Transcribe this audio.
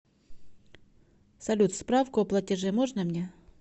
салют справку о платеже можно мне